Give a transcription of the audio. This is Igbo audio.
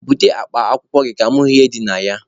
Bute akpa akwụkwọ gị ka mụ hụ ihe dị na ya!